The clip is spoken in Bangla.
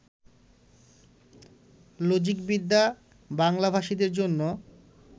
লজিকবিদ্যা বাংলাভাষীদের জন্য